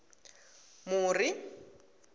muri